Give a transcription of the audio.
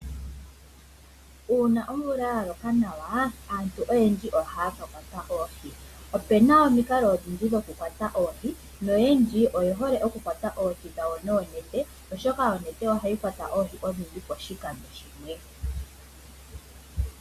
Una omvula yaloka nawa aantu oyendji ohaya kakwata oohi . Opuna omiikalo odhindji dhoku kwata oohi noyendji oye hole okukwata oohi dhawo noonete oshoka oonete ohadhi kwata oohi odhindji pashikando shimwe.